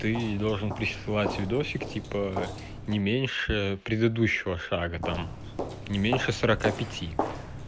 ты должен присылать видосик типа не меньше предыдущего шага там не меньше сорока пяти